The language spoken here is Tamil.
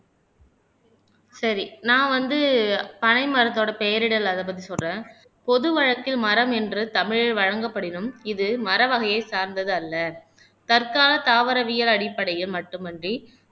சரி நான் வந்து பனை மரத்தோட பெயரிடல் அதைப் பத்தி சொல்றேன் பொது வழக்கில் மரம் என்று தமிழில் வழங்கப்படினும் இது மர வகையை சார்ந்தது அல்ல தற்கால தாவரவியல் அடிப்படையில் மட்டுமன்றி